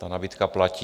Ta nabídka platí.